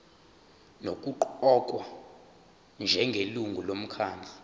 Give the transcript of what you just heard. nokuqokwa njengelungu lomkhandlu